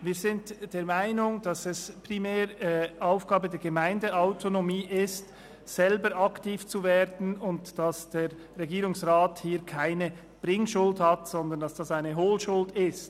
» Wir sind der Meinung, dass es primär Aufgabe der Gemeindeautonomie ist, selber aktiv zu werden, und dass der Regierungsrat hier keine Bringschuld hat, sondern dass es eine Holschuld ist.